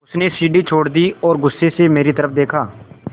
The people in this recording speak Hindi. उसने सीढ़ी छोड़ दी और गुस्से से मेरी तरफ़ देखा